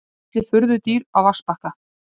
Fjallið furðudýr á vatnsbakka.